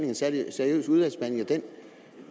en særlig seriøs udvalgsbehandling